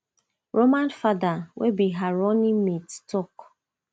roman fada wey be her running mate tok